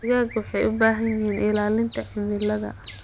Digaagga waxay u baahan yihiin ilaalinta cimilada.